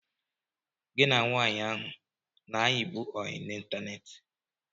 Gị na nwaanyị ahụ a na-ayibu oyị n'ịntaneetị?